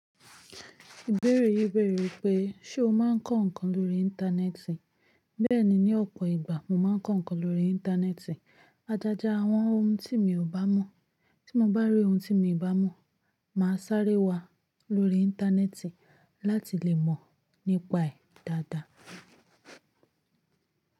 Ìbéèrè yí bẹ̀rẹ̀ wipé, ṣe o máa ń kọ́ nǹkan lórí Íńtánẹ́ẹ̀tì? Bẹ́ẹ̀ni, ní ọ̀pọ̀ ìgbà mo máa ń kọ́ nǹkan lórí Íńtánẹ́ẹ̀tì. Ajájá àwọn ohun tí mi ò bá mọ̀. Tí mo bá rí ohun tí mi i bá mọ̀, màá sáré wá lórí Íńtánẹ́ẹ̀tì láti lè mọ̀ nípa ẹ̀ dáadáa.